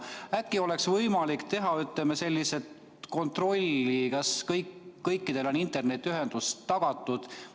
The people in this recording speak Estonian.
Äkki oleks võimalik, ütleme, teha kontrolli, kas kõikidel on internetiühendus tagatud?